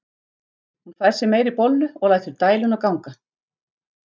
Hún fær sér meiri bollu og lætur dæluna ganga.